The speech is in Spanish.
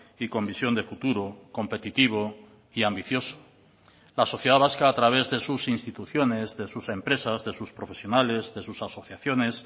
y con visión de futuro competitivo y ambicioso la sociedad vasca a través de sus instituciones de sus empresas de sus profesionales de sus asociaciones